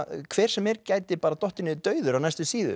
hver sem er gæti dottið niður dauður á næstu síðu